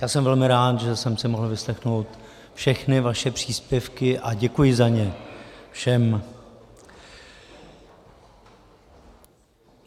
Já jsem velmi rád, že jsem si mohl vyslechnout všechny vaše příspěvky, a děkuji za ně všem.